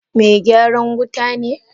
Kai Megyaran wuta ne?